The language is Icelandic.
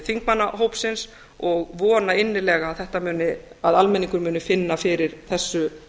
þingmannahópsins og vona innilega að almenningur muni finna fyrir þessu